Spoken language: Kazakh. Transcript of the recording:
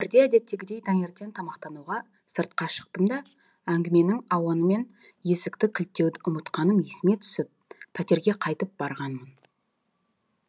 бірде әдеттегідей таңертен тамақтануға сыртқа шықтым да әңгіменің ауанымен есікті кілттеуді ұмытқаным есіме түсіп пәтерге қайтып барғанмын